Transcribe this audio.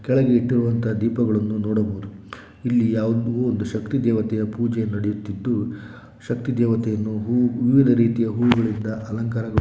ಕೆಳ್ಗೆ ಇಟ್ಟಿರುವ ದೀಪಗಳನ್ನು ನೋಡ್ಬಹುದು ಇಲ್ಲಿ ಯಾವುದೊ ಒಂದು ಶಕ್ತಿ ದೇವತೆಯ ಪೂಜೆಯ ನಡೀತಾ ಇರಬಹುದು.